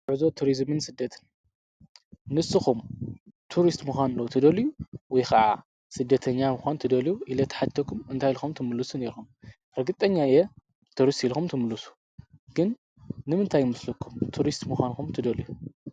ጉዕዞ ቱርዝምን ስደትን ንሱኹም ቱርስት ምዃኑ ዶ ትደልዩ ወይ ኸዓ ስደተኛ ምዃን ትደልዩ ኢለ ተሓቲተኩም እንታይ ኢልኹም ትምልሱለይ ነይሮም? ርግጠኛየ ትሪስት ኢልኹም ትምሉሱ ኢኹም ግን ንምንታይ መስልኩም ቱሪስት ምዃን ትደልዩ?